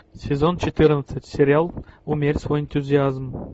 сезон четырнадцать сериал умерь свой энтузиазм